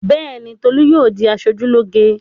Bẹ́ẹ̀ ni, Tolú yóò di aṣojúlóge.